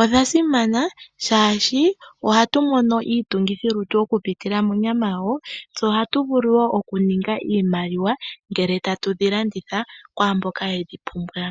Odha simana shaashi ohatu mono iitungithilitu oku pitila monyama yadho, tse oha tu mono wo oshimaliwa ngele ta tu dhi landitha kwaamboka ye dhi pumbwa.